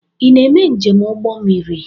Ị na-eme njem n'ụgbọ mmiri?